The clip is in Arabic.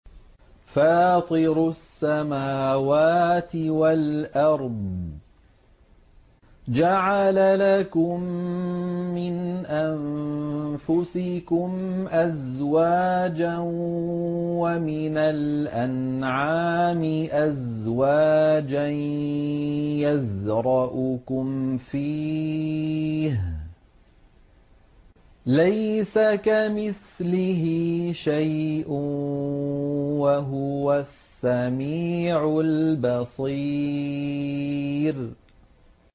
فَاطِرُ السَّمَاوَاتِ وَالْأَرْضِ ۚ جَعَلَ لَكُم مِّنْ أَنفُسِكُمْ أَزْوَاجًا وَمِنَ الْأَنْعَامِ أَزْوَاجًا ۖ يَذْرَؤُكُمْ فِيهِ ۚ لَيْسَ كَمِثْلِهِ شَيْءٌ ۖ وَهُوَ السَّمِيعُ الْبَصِيرُ